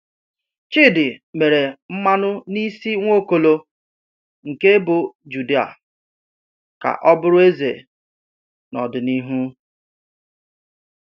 Chidi mere mmanụ n’isi Nwaokolo nke ebo Juda ka ọ bụrụ eze n’ọdịnihu.